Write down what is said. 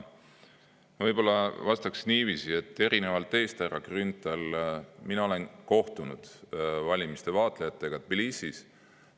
Ma võib-olla vastan niiviisi, et erinevalt teist, härra Grünthal, mina olen kohtunud valimisvaatlejatega Tbilisis.